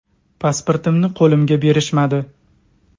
Pasportimni qo‘limga berishmadi.